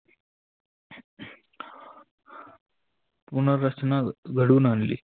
पुनर्रचना घडून आनली.